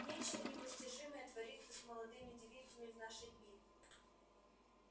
нечто непостижимое творится с молодыми девицами в наши дни